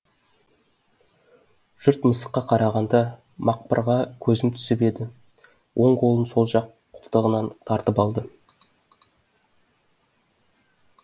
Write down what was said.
жұрт мысыққа қарағанда мақпырға көзім түсіп еді оң қолын сол жақ қолтығынан тартып алды